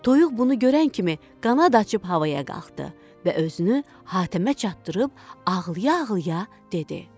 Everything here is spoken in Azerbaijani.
Toyuq bunu görən kimi qanad açıb havaya qalxdı və özünü Hatəmə çatdırıb ağlaya-ağlaya dedi: